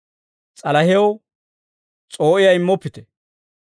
S'alahew s'oo'iyaa immoppite.